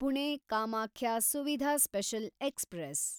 Pune Kamakhya Suvidha special express